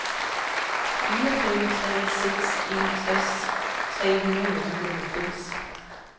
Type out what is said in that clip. fire fem tre seks enogtres tre hundrede og nioghalvfems